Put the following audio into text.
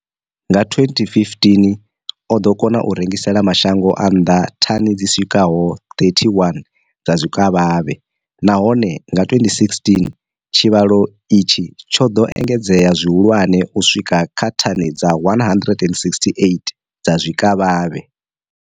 Nga 2015, o ḓo kona u rengisela mashango a nnḓa thani dzi swikaho 31 dza zwikavhavhe, nahone nga 2016 tshivhalo itshi tsho ḓo engedzea zwihulwane u swika kha thani dza 168 dza zwikavhavhe.